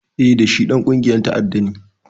Eh, da shi Ɗan ƙungiyar ta'adda ne